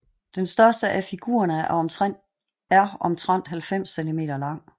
Den største af figurerne er omtrent 90 cm lang